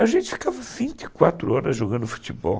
A gente ficava vinte e quatro horas jogando futebol.